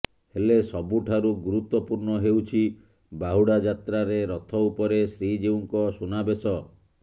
ହେଲେ ସବୁଠାରୁ ଗୁରୁତ୍ୱପୂର୍ଣ୍ଣ ହେଉଛି ବାହୁଡା ଯାତ୍ରାରେ ରଥ ଉପରେ ଶ୍ରୀଜିଉଙ୍କ ସୁନାବେଶ